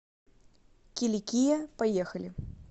киликия поехали